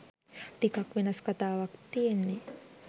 ටිකක් වෙනස් කතාවක් තියෙන්නෙ.